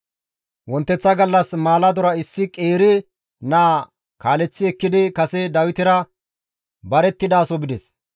Wonteththa gallas maaladora issi qeeri naa kaaleththi ekkidi kase Dawitera barettidaso bides.